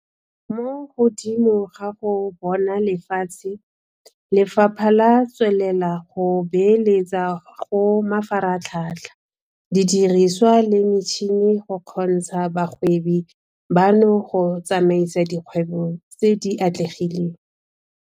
Mo godimo ga go bona lefatshe, Lefapha le tswelela go beeletsa go mafaratlhatlha, didiriswa le metšhini go kgontsha bagwebi bano go tsamaisa dikgwebo tse di atlegileng.